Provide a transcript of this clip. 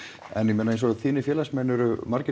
en ég meina eins og þínir félagsmenn eru margir